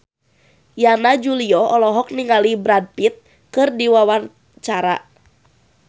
Yana Julio olohok ningali Brad Pitt keur diwawancara